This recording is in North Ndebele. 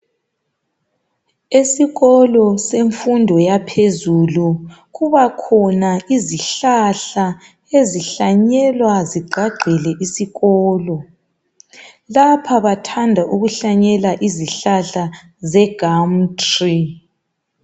Esikolo semfundo yaphezulu kubakhona izihlahla ezihlanyelwa zigqagqele isikolo. Lapha bathanda ukuhlanyela izihlahla zeGum tree.